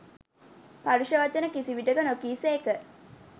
පරුෂ වචන කිසි විටෙක නො කී සේක.